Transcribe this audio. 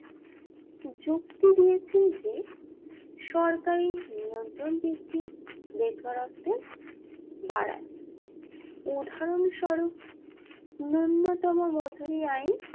যুক্তি দিয়েছেন যে যে সরকারি নিয়ন্ত্রণ বৃদ্ধি বেকারত্বে বাড়ায় উদাহরণ সরুফ ন্যূনতম মজুরি আইন